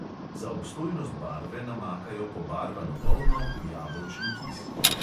Za obstojnost barve namakajo pobarvano volno v jabolčni kis.